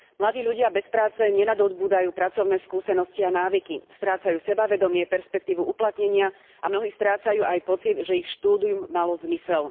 Mladí ľudia bez práce nenadobúdajú pracovné skúsenosti a návyky, strácajú sebavedomie, perspektívu uplatnenia a mnohí strácajú aj pocit, že ich štúdium malo zmysel.